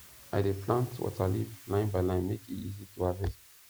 i dey plant waterleaf line by line make e easy to harvest